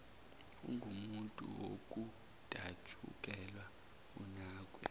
ungumuntu wokudatshukelwa unakwe